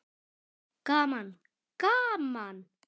Gaman gaman!